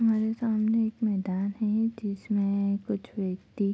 हमारे सामने एक मैदान है जिसमें कुछ व्यक्ति --